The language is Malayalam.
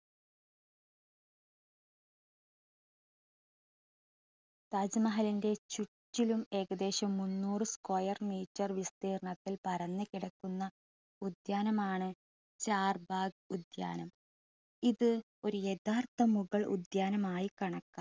താജ്മഹലിൻ്റെ ചുറ്റിലും ഏകദേശം മുന്നൂറ് square meter വിസ്തീർണത്തിൽ പരന്നു കിടക്കുന്ന ഉദ്യാനമാണ് ചാർബാഗ് ഉദ്യാനം. ഇത് ഒരു യഥാർത്ഥ മുഗൾ ഉദ്യാനമായി കണക്കാക്കാം.